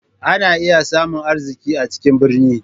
Ana iya samun arziki a cikin birni.